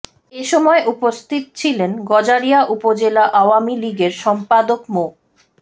এ সময় উপস্থিত ছিলেন গজারিয়া উপজেলা আওয়ামী লীগের সম্পাদক মো